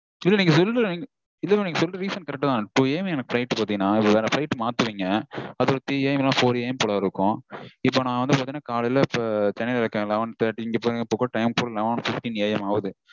இல்ல mam நீங்க சொல்ற reason correct -தா. two AM எனக்கு flight பாத்தீங்கனா. வேற flight மாத்துவீங்க. அது ஒரு threeAMfourAM போல இருக்கும். இப்போ நா வந்து பாத்தீங்கனா காலைல சென்னைல இருக்கேன் இப்போ eleven thirty இங்க பாருங்க இப்போ கூட time eleven fifteenAM ஆகுது